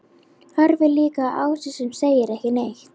Horfir líka á Ásu sem segir ekki neitt.